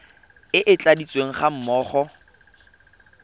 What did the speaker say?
e e tladitsweng ga mmogo